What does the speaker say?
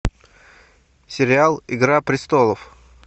сериал игра престолов